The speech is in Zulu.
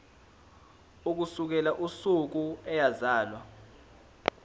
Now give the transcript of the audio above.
ukusukela usuku eyazalwa